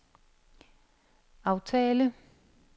aftale